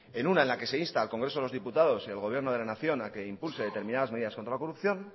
en una en la que insta al congreso de los diputado y al gobierno de la nación a que impulse determinadas medidas contra la corrupción